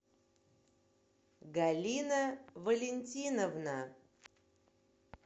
галина валентиновна